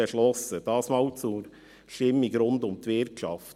Dies zur Stimmung rund um die Wirtschaft.